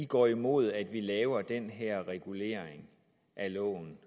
går imod at vi laver den her regulering af loven